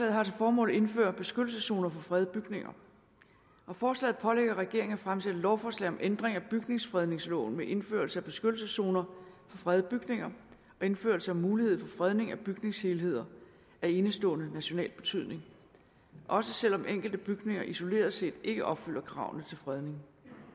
har til formål at indføre beskyttelseszoner for fredede bygninger og forslaget pålægger regeringen at fremsætte lovforslag om ændring af bygningsfredningsloven med indførelse af beskyttelseszoner for fredede bygninger og indførelse af mulighed for fredning af bygningshelheder af enestående national betydning også selv om enkelte bygninger isoleret set ikke opfylder kravene til fredning